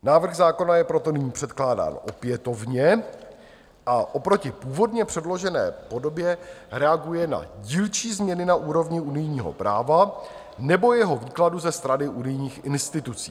Návrh zákona je proto nyní předkládán opětovně a oproti původně předložené podobě reaguje na dílčí změny na úrovni unijního práva nebo jeho výkladu ze strany unijních institucí.